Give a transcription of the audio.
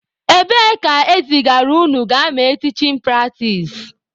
Ebee ka ezigara unu gaa mee tichin pratis?